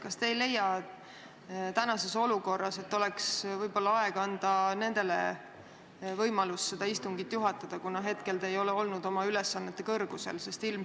Kas te ei leia praeguses olukorras, et võib-olla oleks aeg anda nendele võimalus seda istungit juhatada, kuna hetkel te ei ole olnud oma ülesannete kõrgusel?